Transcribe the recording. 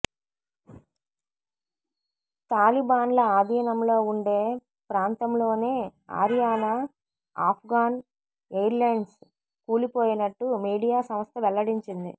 తాలిబాన్ల ఆధీనంలో ఉండే ప్రాంతంలోనే ఆరియానా ఆఫ్ఘాన్ ఎయిర్లైన్స్ కూలిపోయినట్టు మీడియా సంస్థ వెల్లడించింది